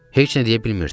Heç nə deyə bilmirdim.